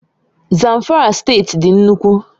Zamfara State dị nnukwu